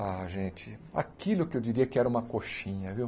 Ah, gente, aquilo que eu diria que era uma coxinha, viu?